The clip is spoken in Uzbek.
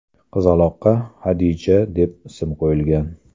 Qizaloqqa Hadija deb ism qo‘yishgan.